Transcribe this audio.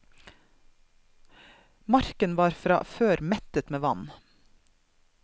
Marken var fra før mettet med vann.